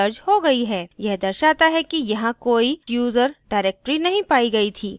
यह दर्शाता है कि यहाँ कोई /user directory नहीं पायी गयी थी